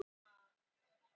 hvað með ugghausinn